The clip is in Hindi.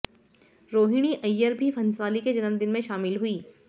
रोहिणी अय्यर भी भंसाली के जन्मदिन में शामिल हुईं